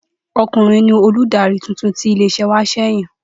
O̩kùnrin ni olùdarí titun tí ilé is̩é̩ wa s̩è̩ yàn